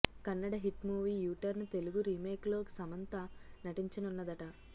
Kannada hit movie U turn Telugu remake లో సమంత నటించనున్నదట